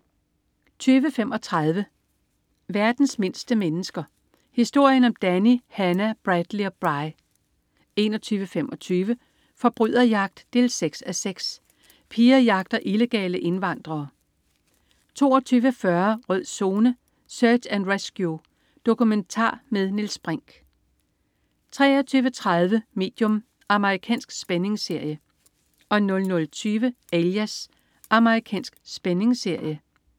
20.35 Verdens mindste mennesker. Historien om Danny, Hannah, Bradley og Bri 21.25 Forbryderjagt 6:6. Pia jagter illegale indvandrere 22.40 Rød Zone: Search and Rescue. Dokumentar med Niels Brinch 23.30 Medium. Amerikansk spændingsserie 00.20 Alias. Amerikansk spændingsserie